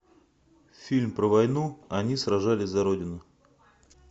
фильм про войну они сражались за родину